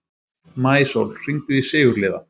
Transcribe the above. Maísól, hringdu í Sigurliða.